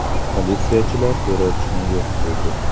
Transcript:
Politsiyachilar terrorchini yo‘q qildi.